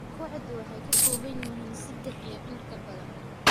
Kooxdu waxay ka kooban tahay saddex iyo in ka badan.